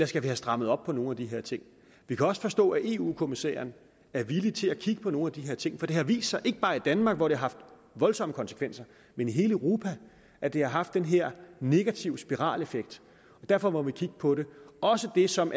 skal have strammet op på nogle af de her ting vi kan også forstå at eu kommissæren er villig til at kigge på nogle af de her ting for det har vist sig ikke bare i danmark hvor det har haft voldsomme konsekvenser men i hele europa at det har haft den her negative spiraleffekt derfor må vi kigge på det også det som